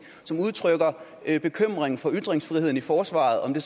som udtrykker bekymring for ytringsfriheden i forsvaret om det